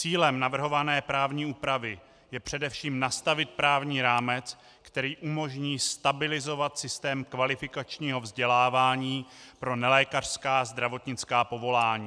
Cílem navrhované právní úpravy je především nastavit právní rámec, který umožní stabilizovat systém kvalifikačního vzdělávání pro nelékařská zdravotnická povolání.